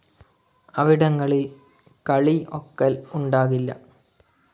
അവിടങ്ങളിൽ കളി ഒക്കൽ ഉണ്ടാകില്ല.